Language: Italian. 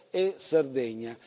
e Sardegna.